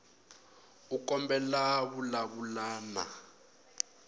u kombela ku vulavula na